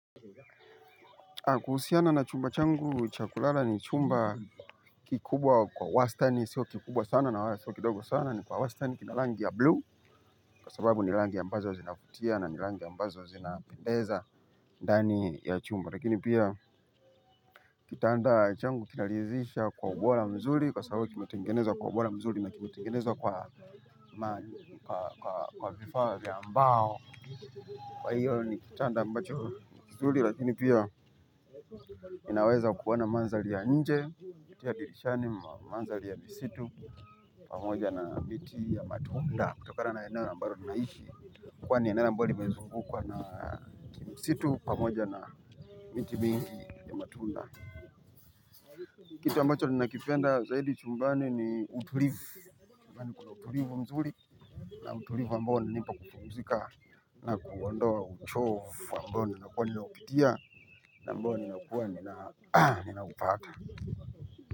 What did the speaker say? Kuhusiana na chumba changu cha kulala ni chumba kikubwa kwa wastani sio kikubwa sana na wala sio kidogo sana ni kwa wastani kina rangi ya blue kwa sababu ni rangi ambazo zinavutia na ni rangi ambazo zinapendeza kikubwa kwa wastani sio kikubwa sana na wala sio kidogo sana ni kwa wastani kina rangi ya blue kwa sababu ni rangi ambazo zinavutia na ni rangi ambazo zinapendeza kitanda changu kinaridhisha kwa ubora mzuri kwa sababu kimetengeneza kwa ubora mzuri na kimetengeneza kwa vifaa vya mbao. Kwa hiyo ni kitanda ambacho ni mzuri lakini pia inaweza kuona maandhari ya nje, kupitia dirishani maandhari ya misitu. Pamoja na miti ya matunda kutokana na eneo ambalo ninaishi. Kwani ni eneo ambalo limezungu kwa na misitu pamoja na miti mingi ya matunda. Kitu ambacho ninakipenda zaidi chumbani ni utulivu. Chumbani kuna utulivu mzuri na utulivu ambao unanipa kupumzika na kuondoa uchovu ambao ninakuwa nimeupitia. Na ambao ninakuwa ninaupata.